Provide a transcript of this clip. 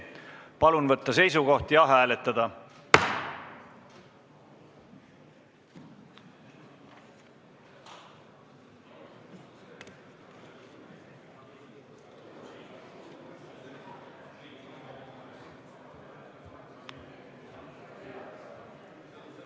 Palun võtta seisukoht ja hääletada!